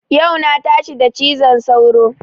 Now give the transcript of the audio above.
Yau na tashi da cizon sauro